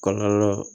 Kɔlɔlɔ